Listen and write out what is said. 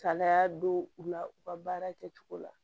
Kalaya don u la u ka baara kɛcogo la